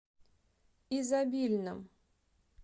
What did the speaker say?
изобильном